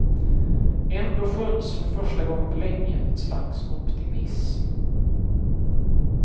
Ändå skönjs för första gången på länge ett slags optimism.